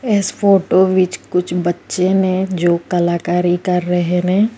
ਇਸ ਫੋਟੋ ਵਿੱਚ ਕੁਛ ਬੱਚੇ ਨੇ ਜੋ ਕਲਾਕਾਰੀ ਕਰ ਰਹੇ ਨੇ।